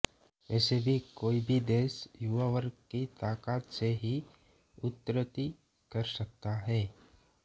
वैसे भी कोई भी देश युवा वर्ग की ताकत से ही उन्नति कर सकता है